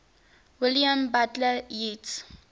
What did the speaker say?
william butler yeats